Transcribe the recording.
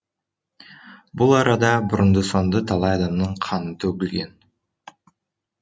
бұл арада бұрынды соңды талай адамның қаны төгілген